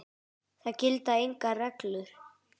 Það gilda engar reglur.